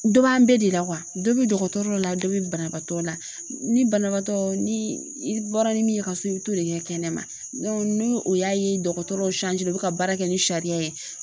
Dɔ b'an bɛɛ de la . Dɔ be dɔgɔtɔrɔ dɔ la, dɔ be banabaatɔ la ni banabaatɔ ni i bɔra ni min ye ka so i bi t'o de kɛ kɛnɛ ma ni u y'a ye dɔgɔtɔrɔ bɛ ka baara kɛ ni sariya ye